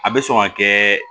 A bɛ sɔn ka kɛ